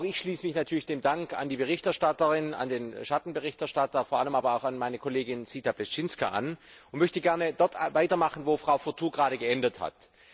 Auch ich schließe mich natürlich dem Dank an die Berichterstatterin, an den Schattenberichterstatter, vor allem aber auch an meine Kollegin Zita Pleštinská an und möchte dort weitermachen, wo Frau Fourtou gerade geendet hat.